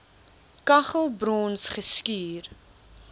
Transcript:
kaggel brons geskuur